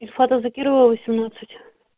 ильфата закирова восемнадцать